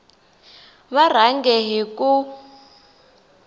va rhange hi ku n